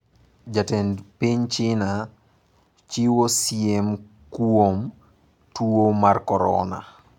Jatend piny China chiwo siem kuom tuo mar corona